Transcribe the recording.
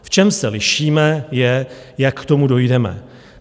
V čem se lišíme, je, jak k tomu dojdeme.